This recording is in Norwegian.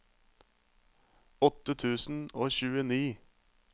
åtte tusen og tjueni